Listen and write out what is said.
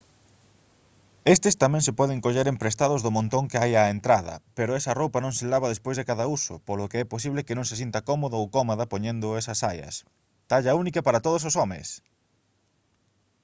estes tamén se poden coller emprestados do montón que hai á entrada pero esa roupa non se lava despois de cada uso polo que é posible que non se sinta cómodo ou cómoda poñendo esas saias talla única para todos os homes